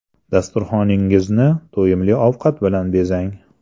Dasturxoningizni to‘yimli ovqat bilan bezang.